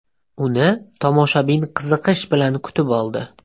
Uni tomoshabin qiziqish bilan kutib oldi.